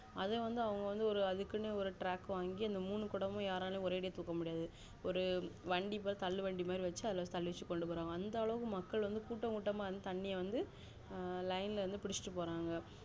அது வந்து அவங்க வந்து அதுக்குனே ஒரு track வாங்கி மூணு கொடமும் யாராலையுமே ஒரே அடிய தூக்க முடியாது ஒரு வண்டி ஒரு தள்ளு வண்டி மாதிரி வச்சு அதுல தள்ளி வச்சு கொண்டுபோரங்க அந்த அளவுக்கு மக்கள் கூட்டகூட்டமா வந்து தண்ணி வந்து line இருந்து புடிச்சிட்டு போறாங்க